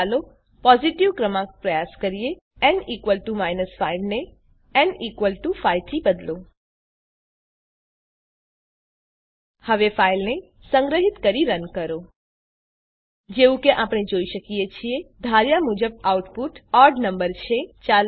હવે ચાલો પોઝીટીવ ક્રમાંક પ્રયાસ કરીએ ન 5 ને ન 5 થી બદલો હવે ફાઈલને સંગ્રહીત કરી રન કરો જેવું કે આપણે જોઈ શકીએ છીએ ધાર્યા મુજબ આઉટપુટ ઓડ નંબર છે